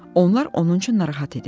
Onlar onun üçün narahat edirlər.